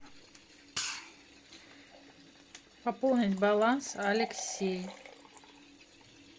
пополнить баланс алексей